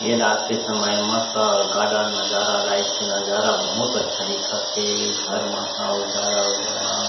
ये रात के समय मतलब गार्डन नजारा लाइट के नजारा बहुत अच्छा दिखत हे घर मन ह उजाला-उजाला--